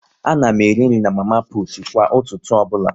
A na m eri nri na mama putu kwa ụtụtụ ọbụla